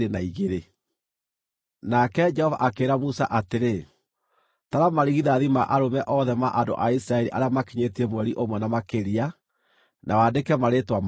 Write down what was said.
Nake Jehova akĩĩra Musa atĩrĩ, “Tara marigithathi ma arũme othe ma andũ a Isiraeli arĩa makinyĩtie mweri ũmwe na makĩria, na wandĩke marĩĩtwa mao.